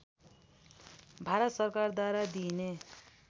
भारत सरकारद्वारा दिइने